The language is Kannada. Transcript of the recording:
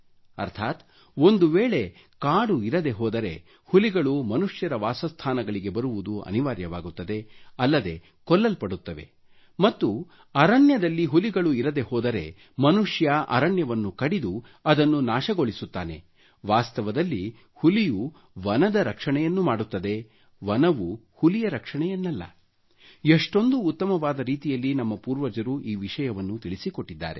ಅರ್ಥಾತ್ ಒಂದು ವೇಳೆ ಕಾಡು ಇರದೆ ಹೋದರೆ ಹುಲಿಗಳು ಮನುಷ್ಯರ ವಾಸಸ್ಥಾನಗಳಿಗೆ ಬರುವುದು ಅನಿವಾರ್ಯವಾಗುತ್ತದೆ ಅಲ್ಲದೆ ಕೊಲ್ಲಲ್ಪಡುತ್ತವೆ ಮತ್ತು ಅರಣ್ಯದಲ್ಲಿ ಹುಲಿಗಳು ಇರದೆ ಹೋದರೆ ಮನುಷ್ಯ ಅರಣ್ಯವನ್ನು ಕಡಿದು ಅದನ್ನು ನಾಶಗೊಳಿಸುತ್ತಾನೆ ವಾಸ್ತವದಲ್ಲಿ ಹುಲಿಯು ವನದ ರಕ್ಷಣೆಯನ್ನು ಮಾಡುತ್ತದೆ ವನವು ಹುಲಿಯ ರಕ್ಷಣೆಯನ್ನಲ್ಲ ಎಷ್ಟೊಂದು ಉತ್ತಮವಾದ ರೀತಿಯಲ್ಲಿ ನಮ್ಮ ಪೂರ್ವಜರು ಈ ವಿಷಯವನ್ನು ತಿಳಿಸಿಕೊಟ್ಟಿದ್ದಾರೆ